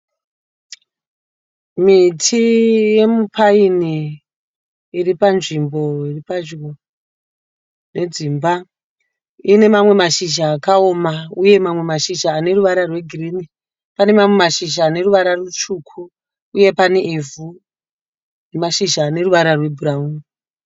Miti yomupaini iri panzvimbo iri pedyo nedzimba. Ine mamwe mashizha akaoma uye mamwe mashizha aneruvara rwegirini. Pane mamwe mashizha aneruvara rutsvuku uye pane ivhu nemashizha aneruvara rwebhurawuni.